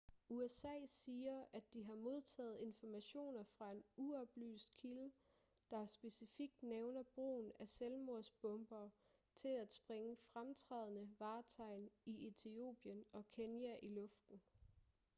usa siger at de har modtaget information fra en uoplyst kilde der specifikt nævner brugen af ​​selvmordsbombere til at sprænge fremtrædende vartegn i etiopien og kenya i luften